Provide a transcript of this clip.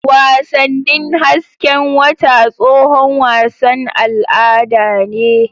Wasannin hasken wata tsohon wasan al'ada ne.